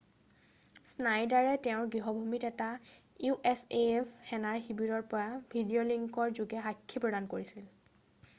স্নাইডাৰে তেওঁৰ গৃহভূমিৰ এটা usaf সেনা শিৱৰৰ পৰা ভিডিঅ'লিংকৰ যোগে সাক্ষী প্ৰদান কৰিছিল